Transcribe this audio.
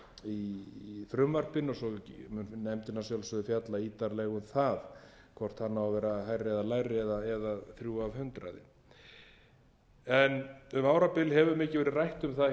í frumvarpinu og svo mun nefndin að sjálfsögðu fjalla ítarlega um það hvort hann má vera hærri eða lægri eða þrjú prósent um árabil hefur mikið verið rætt um það á íslandi um mörk